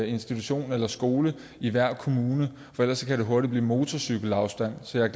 institution eller skole i hver kommune for ellers kan det hurtigt blive i motorcykelafstand så jeg